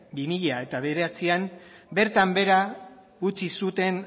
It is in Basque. bi mila bederatzian bertan behera utzi zuten